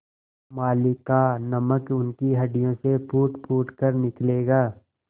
मालिक का नमक उनकी हड्डियों से फूटफूट कर निकलेगा